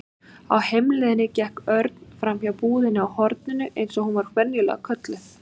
Á heimleiðinni gekk Örn framhjá búðinni á horninu eins og hún var venjulega kölluð.